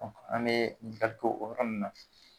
an bɛ ɲininkali kɛ o yɔrɔ nun na.